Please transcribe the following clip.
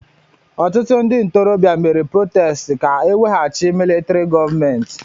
Ọtụtụ ndị ntorobịa mere protestị ka eweghachi militrị gọọmenti.